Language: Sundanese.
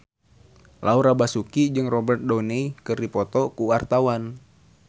Laura Basuki jeung Robert Downey keur dipoto ku wartawan